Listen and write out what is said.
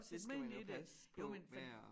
Det skal man jo passe på med at